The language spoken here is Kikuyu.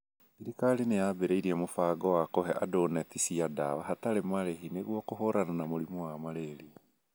Thirikari nĩ yambĩrĩirie mũbango wa kũhe andũ neti cia ndawa hatarĩ marĩhi nĩguo kũhũrana na mũrimũ wa malaria .